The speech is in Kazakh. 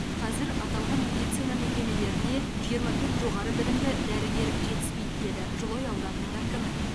қазір аталған медицина мекемелеріне жиырма төрт жоғары білімді дәрігер жетіспейді деді жылыой ауданының әкімі